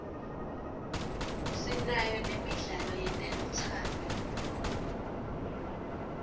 sinayo nemidlalo yetelutsando